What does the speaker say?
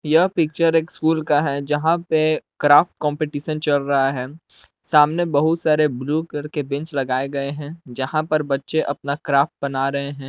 यह पिक्चर एक स्कूल का है जहां पे क्राफ्ट कंपटीशन चल रहा है सामने बहुत सारे ब्लू कलर बेंच लगाए गए हैं जहां पर बच्चे अपना क्राफ्ट बना रहे हैं।